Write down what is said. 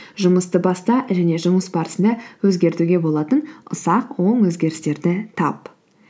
жұмысты баста және жұмыс барысында өзгертуге болатын ұсақ оң өзгерістерді тап